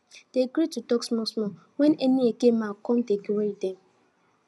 dem gree to tok small small wen any eke man come dey query dem